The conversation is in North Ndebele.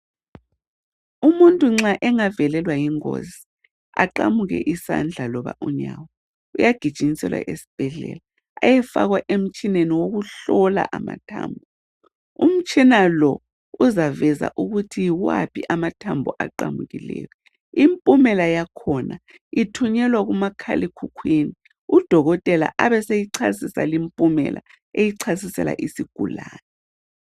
Umuntu nxa engavelelwa yingozi aqamuke isandla loba unyawo uyagijinyiselwa esibhedlela eyefakwa emtshineni wokuhlola amathambo. Umtshina lo uzavenza ukuthi yiwaphi amathambo aqamukileyo. Impumela yakhona ithunyelwa kumakhala ekhukhwini, udokotela abe seyichasisa limpumela eyichasisela isigulane.